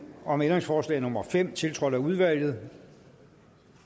om ændringsforslag nummer fem tiltrådt af udvalget